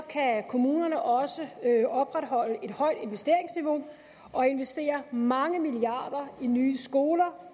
kan kommunerne også opretholde et højt investeringsniveau og investere mange milliarder i nye skoler